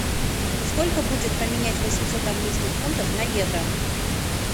сколько будет поменять восемьсот английских фунтов на евро